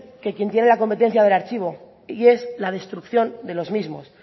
que quién tiene la competencia del archivo y es la destrucción de los mismos